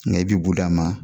i bi bu d'a ma